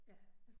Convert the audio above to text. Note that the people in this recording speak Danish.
Ja